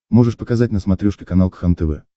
можешь показать на смотрешке канал кхлм тв